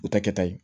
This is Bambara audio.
U ta kɛta ye